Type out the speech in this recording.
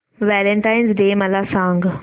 Valentine's Day मला सांग